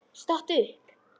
Stattu upp!